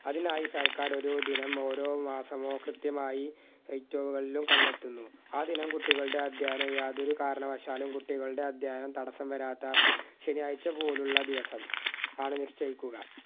അതിനായി സർക്കാർ ഒരു ദിനം ഓരോ മാസമോ കൃത്യമായി ഏറ്റവും കണ്ടെത്തുന്നു ആ ദിനം കുട്ടികളുടെ അധ്യയനം യാതൊരു കാരണവശാലും കുട്ടികളുടെ അധ്യയനം തടസ്സം വരാത്ത ശനിയാഴ്ച പോലുള്ള ദിവസം ആണ് നിശ്ചയിക്കുക